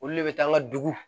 Olu le bɛ taa an ka dugu